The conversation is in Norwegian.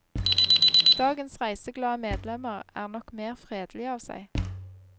Dagens reiseglade medlemmer er nok mer fredelige av seg.